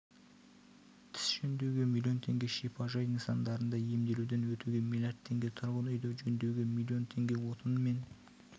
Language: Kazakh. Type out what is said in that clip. тіс жөндеуге миллион теңге шипажай нысандарында емделуден өтуге миллиард теңге тұрғын үйді жөндеуге миллион теңге отынмен